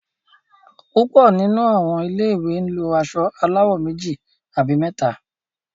púpọ nínú àwọn ilé ìwé lọ aṣọ aláwò méjì àbí méta.